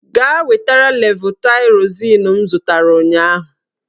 Gaa wetara levotaịrozin m zụtara ụnyaahụ!